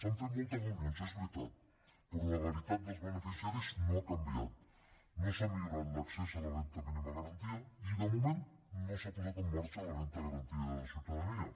s’han fet moltes reunions és veritat però la realitat dels beneficiaris no ha canviat no s’ha millorat l’accés a la renda mínima garantida i de moment no s’ha posat en marxa la renda garantida de ciutadania